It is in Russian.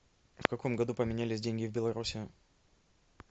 в каком году поменялись деньги в беларуси